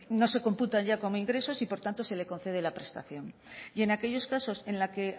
no se computan ya como ingresos y por tanto se le concede la prestación y en aquellos casos en la que